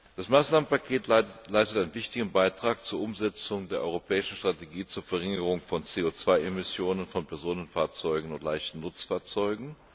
Das Maßnahmenpaket leistet einen wichtigen Beitrag zur Umsetzung der europäischen Strategie zur Verringerung von CO 2 Emissionen von Personenkraftfahrzeugen und leichten Nutzfahrzeugen.